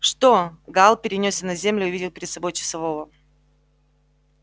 что гаал перенёсся на землю и увидел перед собой часового